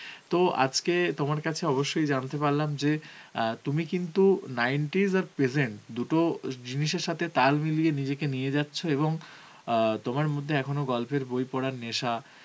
তো আজকে তোমার কাছে অবশ্যই জানতে পারলাম যে, আ তুমি কিন্তু nineties আর present দুটো জিনিসের সাথে নিজেকে তাল মিলিয়ে নিয়ে যাচ্ছো এবং অ্যাঁ তোমার মধ্যে এখনো গল্পের বই পরার নেশা